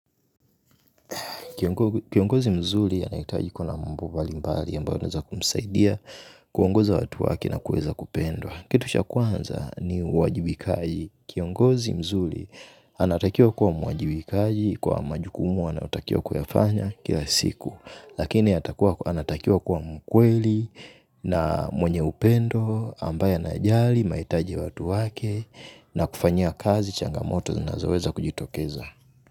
Kiongozi mzuri anahitaji kuwa na mambo mbali mbali ambayo yanaweza kumsaidia, kuongoza watu wake na kuweza kupendwa. Kitu cha kwanza ni uwajibikaji. Kiongozi mzuri anatakiwa kuwa mwajibikaji kwa majukumu anayotakiwa kuyafanya kila siku. Lakini anatakiwa kuwa mkweli, na mwenye upendo, ambaye anjali mahitaji ya watu wake, na kufanyia kazi changamoto zinazoweza kujitokeza.